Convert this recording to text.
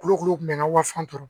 Kulukoro kun bɛ n ka waso kɔrɔ